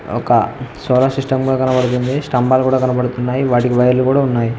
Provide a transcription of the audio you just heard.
ఒక solar system కూడా కనబడుతుంది స్తంభాలు కూడా కనబడుతున్నాయి వాటికి వైర్లు కూడా ఉన్నాయి.